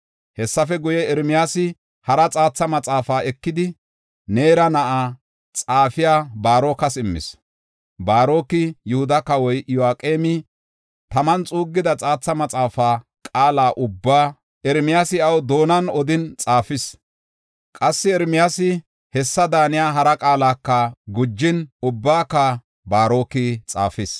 Hessafe guye, Ermiyaasi hara xaatha maxaafaa ekidi, Neera na7aa xaafiya Baarokas immis. Baaroki Yihuda kawoy Iyo7aqeemi taman xuuggida xaatha maxaafaa qaala ubbaa Ermiyaasi iyaw doonan odin xaafis. Qassi Ermiyaasi hessa daaniya hara qaalaka gujin, ubbaka Baaroki xaafis.